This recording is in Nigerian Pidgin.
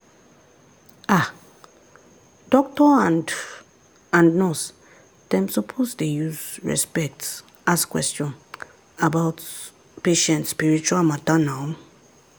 ah doctor and and nurse dem suppose dey use respect ask question about patient spiritual matter nau.